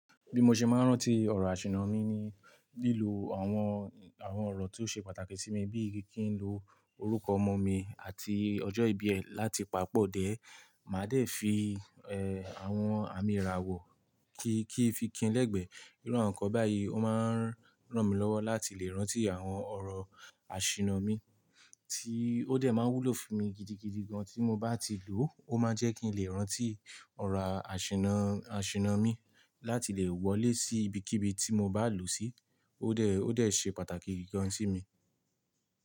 Bí mo ṣe máa ń rántí ọ̀rọ̀ àṣìnná mi ni lílo àwọn, àwọn ọ̀rọ̀ tí ó ṣe pàtàkì sí mi bíi kí n lo orúkọ ọmọ mi àti ọjọ́ ìbí ẹ̀ láti papọ̀. Then, màá dẹ̀ fi, àwọn àmì ìràwọ̀ kí, kí n fi kin lẹ́gbẹ̀ẹ́. Irú àwọn nǹkan báyìí ó máa ń ràn mí lọ́wọ́ láti lè rántí àwọn ọ̀rọ̀ àṣìnná mi, tí ó dẹ̀ máa ń wúlò fún mi gidigidi gan tí mo bá ti lò ó. Ó máa ń jẹ́ kí n lè rántí ọ̀rọ̀ àṣìnná, àṣìnná mi láti lè wọlé sí ibikíbi tí mo bá lọ sí. Ó dẹ̀, ó dẹ̀ ṣe pàtàkì gidi gan sí mi.